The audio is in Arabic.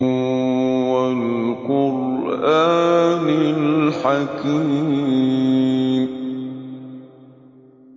وَالْقُرْآنِ الْحَكِيمِ